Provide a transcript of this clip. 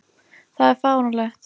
Það er fáránlegt.